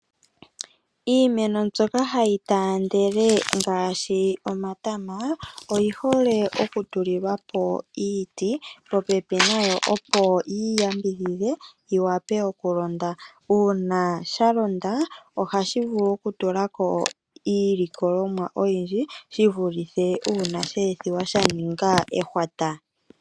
Iimeno mbyoka hayi taandele ngaashi omatama oyi hole oku tuli lwapo iiti popepi nayo. Opo yi yambidhidhe yi wape oku londa. Una sha londa oha shi vulu oku tulako iilikolomwa oyindji. Shi vulithe una she ethiwa sha ninga ehwata.